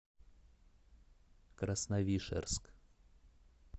красновишерск